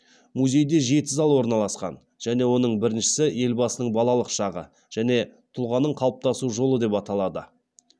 музейде жеті зал орналасқан және оның біріншісі елбасының балалық шағы және тұлғаның қалыптасу жолы деп аталады